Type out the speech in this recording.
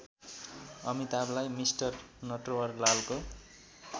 अमिताभलाई mister नटवरलालको